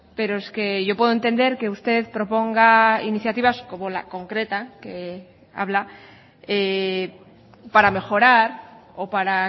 pero es que yo puedo entender que usted proponga iniciativas como la concreta que habla para mejorar o para